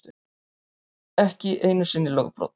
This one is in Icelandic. Ekki einu sinni lögbrot.